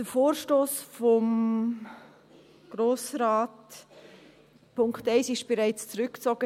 Der Punkt 1 des Vorstosses ist bereits zurückgezogen.